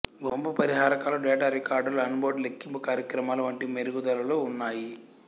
వంపు పరిహారకాలు డేటా రికార్డర్లు ఆన్బోర్డు లెక్కింపు కార్యక్రమాలూ వంటి మెరుగుదలలూ ఉన్నాయి